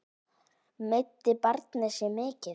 Meiddi barnið sig mikið?